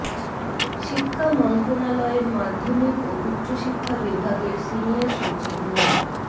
শিক্ষা মন্ত্রণালয়ের মাধ্যমিক ও উচ্চশিক্ষা বিভাগের সিনিয়র সচিব মো